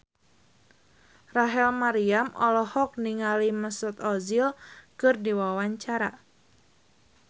Rachel Maryam olohok ningali Mesut Ozil keur diwawancara